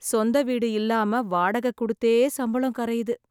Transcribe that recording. சொந்த வீடு இல்லாம வாடக குடுத்தே சம்பளம் கரையுது.